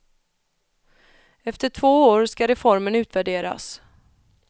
Efter två år skall reformen utvärderas.